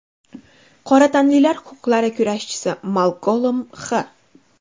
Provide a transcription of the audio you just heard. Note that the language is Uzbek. Qora tanlilar huquqlari kurashchisi Malkolm X.